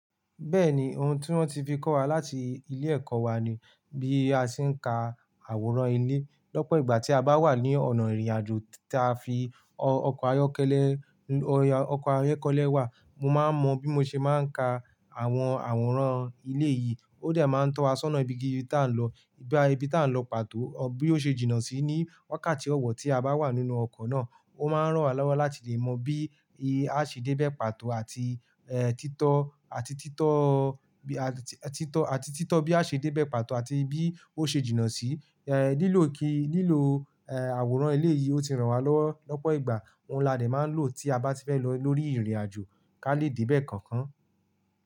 Bẹ́ẹ̀ni, oun tí wọ́n ti fi kọ́ wa láti ilé ẹ̀kọ́ wa ni bí a ṣe ń ka àwòrán ilé. Lọ́pọ̀ ìgbà tí a bá wà ní ọ̀nà ìrìnàjò tí a fi ọkọ̀ ayọ́kẹ́lẹ́, ọkọ̀ ayọ́kẹ́lẹ́ wà, mo máa ń mọ bí mo ṣe máa ń ka àwọn àwòrán ilé yìí. Ó dẹ máa ń tọ́ wa sọ́nà ibi gidi tá ń lọ, ibi tá ń lọ pàtó, bí ó ṣe jìnnà sí ní wákàtí ọ̀wọ̀ tí a bá wà nínú ọkọ̀ náà. Ó máa ń ràn wá lọ́wọ́ láti lè mọ bí a ṣe dé bẹ̀ pàtó àti, ẹ́, títọ́, àti títọ́, àtítítọ́, àti títọ́ bí a ṣe dé bẹ̀ pàtọ̀ àti bí ó ṣe jìnnà sí. Ẹ́, lílọ̀ kí, lílọ̀, ẹ́, àwòrán ilé yìí ó ti ràn wá lọ́wọ́ lọ́pọ̀ ìgbà. Ohun là dẹ́ máa ń lò tí a bá ti fẹ́ lọ lórí ìrìnàjò ká lè dé bẹ̀ kankan.